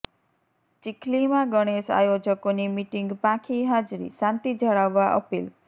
ચીખલીમાં ગણેશ આયોજકોની મિટિંગ પાંખી હાજરીઃ શાંતિ જાળવવા અપીલ